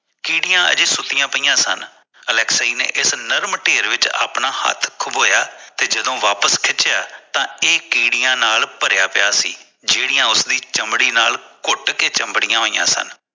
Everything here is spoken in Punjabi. ਕੀੜਿਆਂ ਹਜੇ ਸੁੱਤਿਆਂ ਪਇਆ ਸਨ ਅਲੈਕਸੀ ਨੇ ਇਸ ਨਰਮ ਢੇਰ ਵਿਚ ਅਪਣਾ ਹੱਥ ਖਬੋਇਆ ਤੇ ਜਦੋਂ ਵਾਪਿਸ ਖਿੱਚਿਆ ਤੇ ਇਹ ਕੀੜਿਆਂ ਨਾਲ ਭਰਿਆ ਪਿਆ ਸੀ ਜਿਹੜੀ ਉਸਦੀ ਚਮੜੀ ਨਾਲ ਕੁੱਟ ਕੇ ਚਮੜਿਆਂ ਹੋਇਆ ਸਨ